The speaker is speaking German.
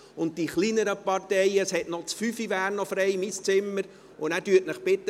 Für die kleineren Parteien wäre das Zimmer 5, mein Zimmer, noch frei.